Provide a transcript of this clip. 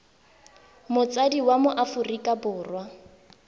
motsadi wa mo aforika borwa